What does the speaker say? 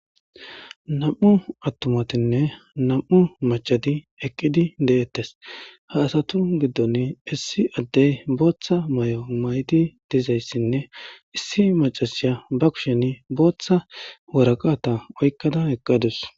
nam7u attumatinne nam7u machadi eqqidi deettes ha asatu giddon issi addey booththa may7o mayti dizayssinne issi macasiya ba kushen booththa waraqata oykkada eqqadus